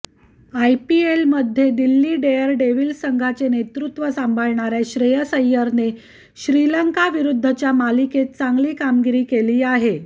आयपीएलमध्ये दिल्ली डेअरडेव्हिल्स संघाचे नेतृत्व सांभाळणाऱ्या श्रेयस अय्यरने श्रीलंकाविरुद्धच्या मालिकेत चांगली कामगिरी केली आहे